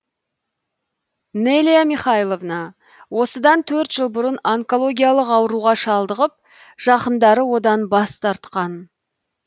неля михайловна осыдан төрт жыл бұрын онкологиялық ауруға шалдығып жақындары одан бас тартқан